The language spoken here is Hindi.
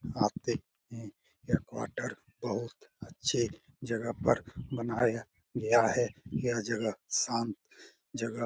आते हैं यह क्वार्टर बहुत अच्छे जगह पर बनाया गया है यह जगह शांत जगह --